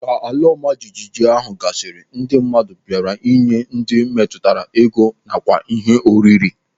Ka ala ọma jijiji ahụ gasịrị, ndị mmadụ bịara ịnye ndị metụtara ego nakwa ihe oriri.